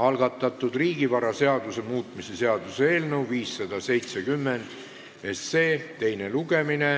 algatatud riigivaraseaduse muutmise seaduse eelnõu 570 teine lugemine.